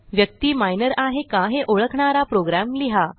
व्यक्ती मायनर आहे का हे ओळखणारा प्रोग्रॅम लिहा